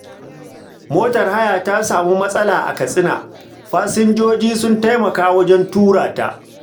Motar haya ta samu matsala a Katsina, fasinjoji sun taimaka wajen tura ta.